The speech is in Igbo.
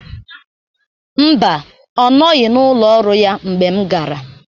Mba, ọ nọghị n'ụlọ ọrụ ya ngbe m gara.